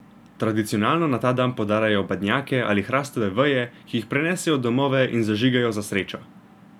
Tradicionalno na ta dan podarjajo badnjake ali hrastove veje, ki jih prinesejo v domove in zažigajo za srečo.